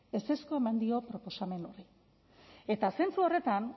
ezezkoa eman dio proposamenari eta zentzu horretan